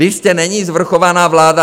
Vy jste neni svrchovaná vláda!